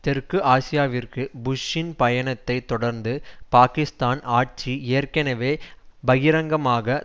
தெற்கு ஆசியாவிற்கு புஷ்ஷின் பயணத்தை தொடர்ந்து பாகிஸ்தான் ஆட்சி ஏற்கனவே பகிரங்கமாக